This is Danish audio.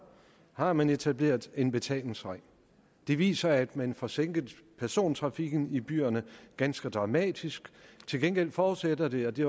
har man etableret en betalingsring det viser sig at man får sænket persontrafikken i byerne ganske dramatisk til gengæld forudsætter det og det